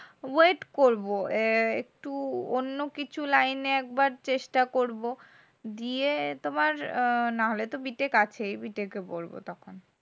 wait করবো। এহহ একটু অন্য কিছু line এ একবার চেষ্টা করবো দিয়ে তোমার নাহলে তো বা- BTECH আছে BTECH এ পড়বো তখন.